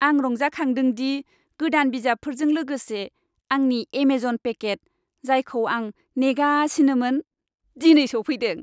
आं रंजाखांदों दि गोदान बिजाबफोरजों लोगोसे आंनि एमेजन पेकेट, जायखौ आं नेगासिनोमोन, दिनै सौफैदों।